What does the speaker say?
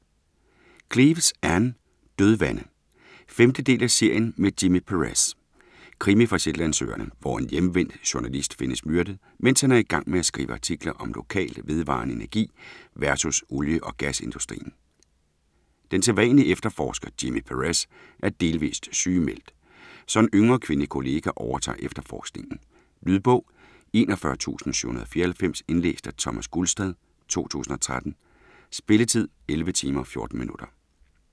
Cleeves, Ann: Dødvande 5. del af serien med Jimmy Perez. Krimi fra Shetlandsøerne, hvor en hjemvendt journalist findes myrdet, mens han er i gang med at skrive på artikler om lokal, vedvarende energi vs. olie-og gasindustrien. Den sædvanlige efterforsker, Jimmy Perez, er delvist sygemeldt, så en yngre, kvindelig kollega overtager efterforskningen. Lydbog 41794 Indlæst af Thomas Gulstad, 2013. Spilletid: 11 timer, 14 minutter.